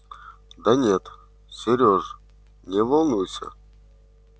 да нет серёж не волнуйся